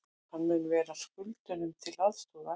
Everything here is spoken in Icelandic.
Hann mun vera skuldurum til aðstoðar